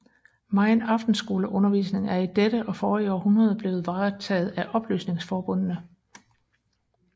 Megen aftenskoleundervisning er i dette og forrige århundrede blevet varetaget af oplysningsforbundene